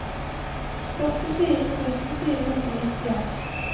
førtifire tusen fire hundre og nittien